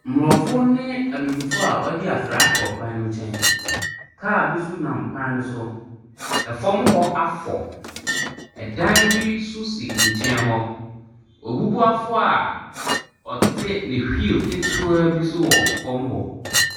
Mmorɔfo ne abibifoɔ a wadi afra wɔ kwan ne nkyɛn. Kaa bi so nam kwan ne so. Ɛfam hɔ afɔ. Ɛdan bi so si nkyɛn hɔ. Ɔbubuafoɔ a ɔte ne hwiil ketewaa bi so wɔ fam hɔ.